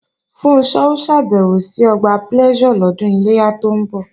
Funṣọ́ ó ṣàbẹ̀wò sí Ọgbà Pleasure lọ́dún Iléyá tó ń bọ̀